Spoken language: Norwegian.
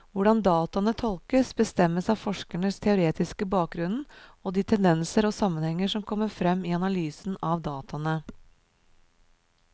Hvordan dataene tolkes, bestemmes av forskerens teoretiske bakgrunnen og de tendenser og sammenhenger som kommer frem i analysen av dataene.